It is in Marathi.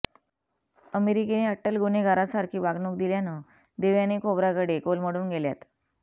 अमेरिकेने अट्टल गुन्हेगारासारखी वागणूक दिल्यानं देवयानी खोब्रागडे कोलमडून गेल्यात